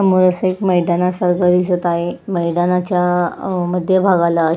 समोर एक अस मैदानासारख दिसत आहे मैदानाच्या मध्य भागाला--